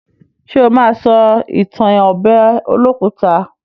Ṣé ó ma sọ ìtàn ọbẹ̀ olókùta?